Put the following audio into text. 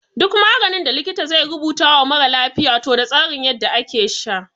Duk maganin da likita zai rubuta wa mara lafiya toh da tsarin yadda ake sha.